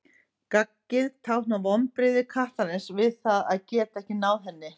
Gaggið táknar vonbrigði kattarins við því að geta ekki náð henni.